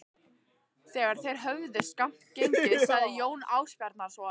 Þegar þeir höfðu skammt gengið sagði Jón Ásbjarnarson